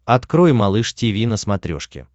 открой малыш тиви на смотрешке